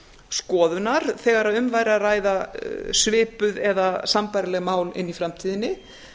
skoðunar þegar um væri að ræða svipuð eða sambærileg mál inni í framtíðinni